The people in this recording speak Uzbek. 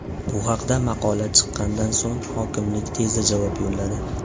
Bu haqda maqola chiqqanidan so‘ng hokimlik tezda javob yo‘lladi.